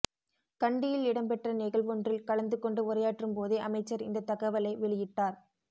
கண்டியில் இடம்பெற்ற நிகழ்வொன்றில் கலந்து கொண்டு உரையாற்றும் போதே அமைச்சர் இந்தத் தகவலை வெளியிட்டார்